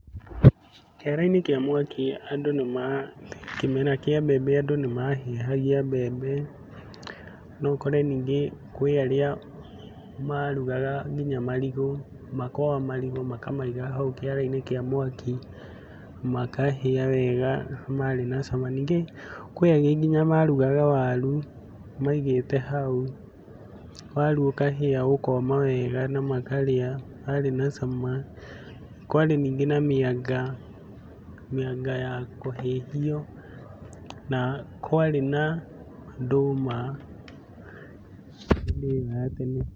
Kĩara-inĩ kĩa mwaki andũ nĩma kĩmera kĩa mbembe andũ nĩmahĩhagia mbembe. Noũkore nyingĩ kwĩarĩa marugaga nginya marigũ, makara marigũ makamaiga hau kĩara-inĩ kĩa mwaki makahĩa wega na marĩ na cama. Nyingĩ kwĩ arĩa nginya marugaga waru maigĩte hau waru ĩkahĩa ĩkoma wega na makarĩa marĩ na cama. Kwarĩ nyingĩ na mĩanga, mĩanga ya kũhĩhio na kwarĩ na ndũma hĩndĩ ĩo ya tene.